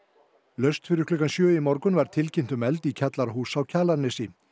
laust fyrir klukkan sjö í morgun var tilkynnt um eld í kjallara húss á Kjalarnesi